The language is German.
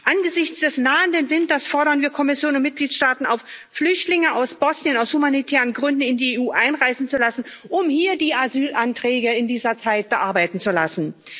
Angesichts des nahenden Winters fordern wir Kommission und Mitgliedstaaten auf, Flüchtlinge aus Bosnien aus humanitären Gründen in die EU einreisen zu lassen, um hier die Asylanträge in dieser Zeit bearbeiten zu lassen.